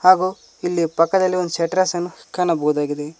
ಹಾಗು ಇಲ್ಲಿ ಪಕ್ಕದಲ್ಲಿ ಒಂದು ಶೆಟರ್ಸ್ ನ್ನು ಕಾಣಬಹುದಾಗಿದೆ.